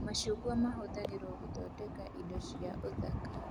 Macungwa mahũthagĩrwo gũthondeka indo cia ũthaka